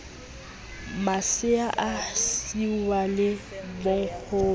masea a siiwa le bonkgono